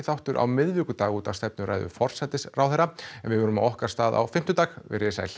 þáttur á miðvikudaginn út af stefnuræðu forsætisráðherra en við verðum á okkar stað á fimmtudag verið þið sæl